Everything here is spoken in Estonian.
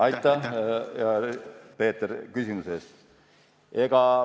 Aitäh, hea Peeter, küsimuse eest!